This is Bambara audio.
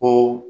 Ko